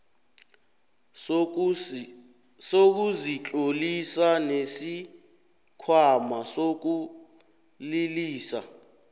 sokuzitlolisa nesikhwama sokulilisa